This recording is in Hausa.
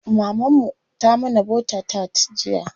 Maman mu ta mana bota tart jiya.